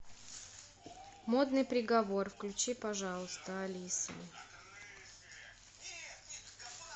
модный приговор включи пожалуйста алиса